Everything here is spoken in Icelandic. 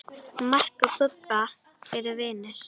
Mark og Bubba eru vinir.